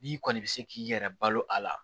N'i kɔni bɛ se k'i yɛrɛ balo a la